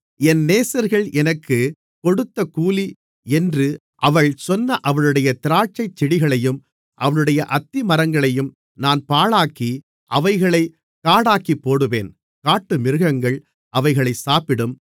என் நேசர்கள் எனக்குக் கொடுத்த கூலி என்று அவள் சொன்ன அவளுடைய திராட்சைச்செடிகளையும் அவளுடைய அத்திமரங்களையும் நான் பாழாக்கி அவைகளைக் காடாக்கிப்போடுவேன் காட்டுமிருகங்கள் அவைகளைச் சாப்பிடும்